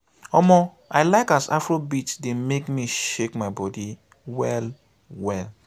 omo i like as afrobeat dey make me shake my body well well.